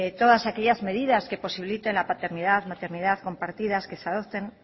todas aquellas medidas que posibiliten la paternidad la maternidad compartidas que se adopten